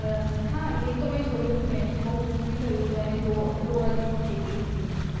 બરાબર હા એ તો મેં જોયું હતું એને બૌ દુખ ભી થયું હતું એને તો રોવા જેવી થય ગય હતી